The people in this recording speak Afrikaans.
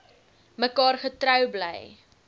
mekaar getrou bly